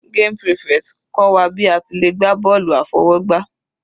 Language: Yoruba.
Game prefect kọ́ wa bí a ti le gbá bọ́ọ̀lù àfọwọ́gbá.